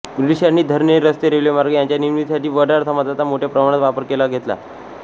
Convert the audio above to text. ब्रिटिशांनी धरणे रस्ते रेल्वेमार्ग यांच्या निर्मीतीसाठी वडार समाजाचा मोठ्या प्रमाणात वापर करून घेतला